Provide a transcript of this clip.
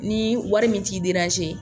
Ni wari min t'i